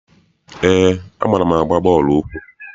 Eé, amaara m agba bọọlụ ụkwụ.